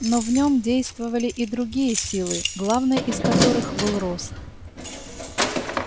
но в нем действовали и другие силы главной из которых был рост